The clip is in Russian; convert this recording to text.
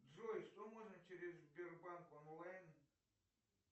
джой что можно через сбербанк онлайн